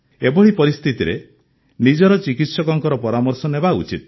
ଏଭଳି ପରିସ୍ଥିତିରେ ନିଜର ଚିକିତ୍ସକଙ୍କ ପରାମର୍ଶ ନେବା ଉଚିତ